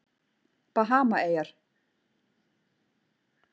Bahamaeyjar